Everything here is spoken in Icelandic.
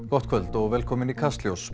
gott kvöld og velkomin í Kastljós